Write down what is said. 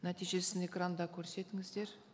нәтижесін экранда көрсетіңіздер